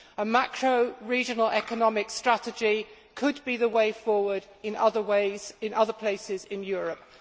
A macro regional economic strategy could be the way forward in other ways, in other places, in Europe.